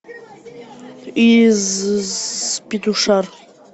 из петушар